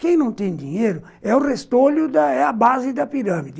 Quem não tem dinheiro é o restolho, é a base da pirâmide.